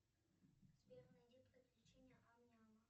сбер найди приключения амняма